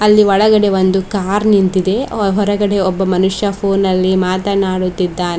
ಇಲ್ಲಿ ಒಳಗಡೆ ಒಂದು ಕಾರ್ ನಿಂತಿದೆ ಹೊರಗಡೆ ಒಬ್ಬ ಮನುಷ್ಯ ಫೋನಲ್ಲಿ ಮಾತನಾಡುತ್ತಿದ್ದಾನೆ.